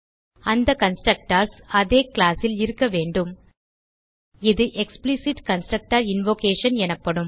அந்த கன்ஸ்ட்ரக்டர்ஸ் அதே கிளாஸ் ல் இருக்க வேண்டும் இது எக்ஸ்பிளிசிட் கன்ஸ்ட்ரக்டர் இன்வொகேஷன் எனப்படும்